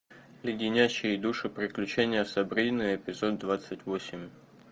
леденящие душу приключения сабрины эпизод двадцать восемь